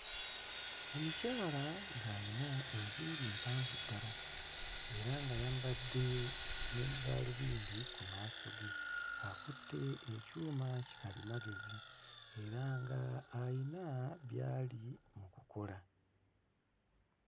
Omukyala ng'ayina enviiri mpanvu ddala era ng'ayambadde ne gaalubindi ku maaso ge, akutte ekyuma kikalimagezi era nga ayina byali mu kukola.